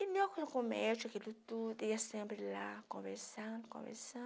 E eu com o médico, aquilo tudo... Eu ia sempre lá, conversando, conversando...